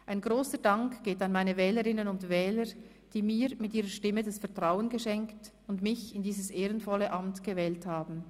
Ein grosser Dank geht an meine Wählerinnen und Wähler, die mir mit ihrer Stimme das Vertrauen geschenkt und mich in dieses ehrenvolle Amt gewählt haben.